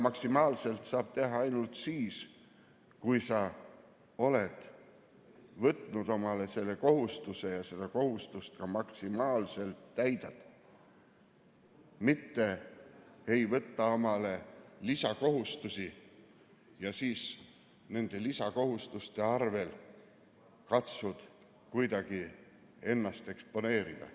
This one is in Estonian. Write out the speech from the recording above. Maksimaalselt saab teha ainult siis, kui sa oled võtnud omale kohustuse ja seda kohustust ka maksimaalselt täidad, mitte ei võta omale lisakohustusi ja siis nende lisakohustuste abil katsud kuidagi ennast eksponeerida.